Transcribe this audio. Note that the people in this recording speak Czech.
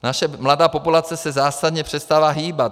Naše mladá populace se zásadně přestala hýbat.